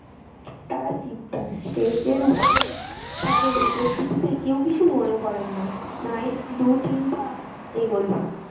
তারা stage এর উপরে তাদের উপস্থিতিতে কেউ কিছু মনে করেন না। নায়ক দু তিন পা এগোলো।